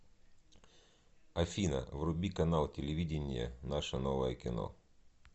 афина вруби канал телевидения наше новое кино